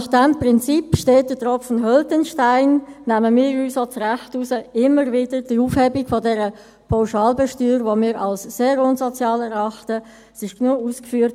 Nach diesem Prinzip – steter Tropfen höhlt den Stein – nehmen wir uns auch das Recht heraus, immer wieder die Aufhebung der Pauschalbesteuerung, die wir als sehr unsozial erachten, zu verlangen.